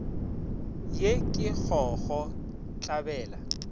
ye ke go go tlabela